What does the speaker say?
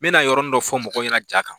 N bɛna yɔrɔnin dɔ fɔ mɔgɔw ɲɛna ja kan